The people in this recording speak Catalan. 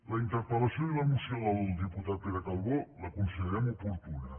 la interpel·lació i la moció del diputat pere calbó la considerem oportuna